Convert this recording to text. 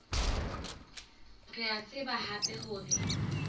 re a tseba hape hore